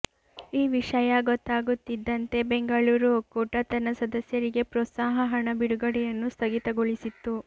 ಈ ವಿಷಯ ಗೊತ್ತಾಗುತ್ತಿದ್ದಂತೆ ಬೆಂಗಳೂರು ಒಕ್ಕೂಟ ತನ್ನ ಸದಸ್ಯರಿಗೆ ಪ್ರೋತ್ಸಾಹ ಹಣ ಬಿಡುಗಡೆಯನ್ನು ಸ್ಥಗಿತಗೊಳಿಸಿತ್ತು